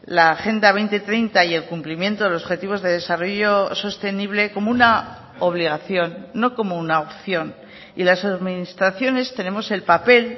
la agenda dos mil treinta y el cumplimiento de los objetivos de desarrollo sostenible como una obligación no como una opción y las administraciones tenemos el papel